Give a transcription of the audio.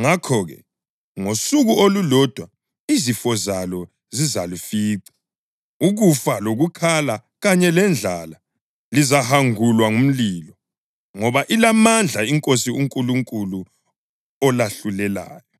Ngakho-ke, ngosuku olulodwa izifo zalo zizalifica: ukufa lokukhala kanye lendlala. Lizahangulwa ngumlilo ngoba ilamandla iNkosi uNkulunkulu olahlulelayo.